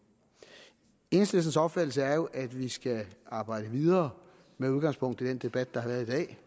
enhedslistens opfattelse er jo at vi skal arbejde videre med udgangspunkt i den debat der har været i dag